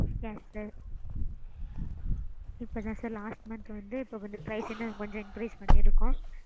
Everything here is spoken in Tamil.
yes sir. இப்படி தான் sir last month வந்து இப்ப வந்து price எல்லாம் கொஞ்சம் increase பண்ணிருக்கோம்.